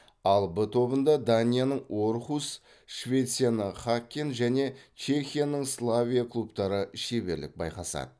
ал в тобында данияның орхус швецияның хаккен және чехияның славия клубтары шеберлік байқасады